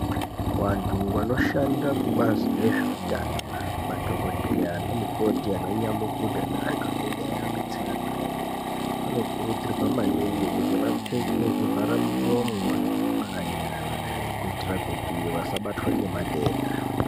Vantu vanoshanda kubazi rezvehutano madhokodheya ana mukoti ana nyamukuta nenantu anenge achivadetsera vanokurudzirwa maningi kuti vapfeke zvivhara muromo nezvivhara nyara kuitira kuti asabatwa nematenda.